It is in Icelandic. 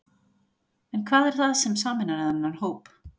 En hvað er það sem sameinar þennan hóp?